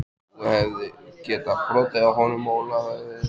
Þú hefðir getað brotið á honum Óla höfuðið.